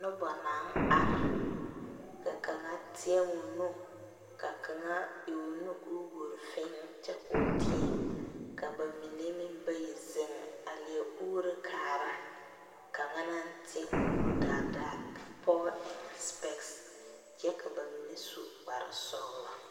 Noba naŋ are, ka kaŋa teɛ o nu. Ka kaŋa e o nu o yuori fee kyɛ koo teɛ.ka ba mine meŋ bayi zeŋ a leɛ uoro kaara. Kaŋa naŋ teɛ o nuŋ daadaa ka pɔgɔ eŋ sepɛks kyɛ ka ba mine su kpar sɔglɔ.